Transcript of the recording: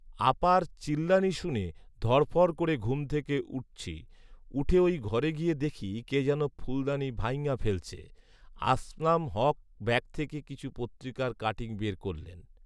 আপার চিল্লানি শুনে ধড়ফড় করে ঘুম থেকে উঠছি৷ উঠে ঐঘরে গিয়ে দেখি কে যেন ফুলদানি ভাইঙ্গা ফেলছে৷ আসলাম হক ব্যাগ থেকে কিছু পত্রিকার কাটিং বের করলেন